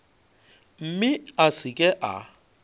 mme a se ke a